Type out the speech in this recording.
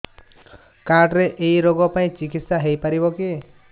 card ରେ ଏଇ ରୋଗ ପାଇଁ ଚିକିତ୍ସା ହେଇପାରିବ କି